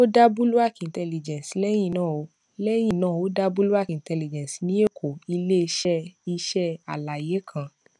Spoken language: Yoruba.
o da bulwark intelligence lẹyin naa o lẹyin naa o da bulwark intelligence ni èkó ileiṣẹ iṣẹ alaye kan